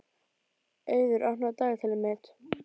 Auður, opnaðu dagatalið mitt.